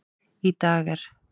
Í dag er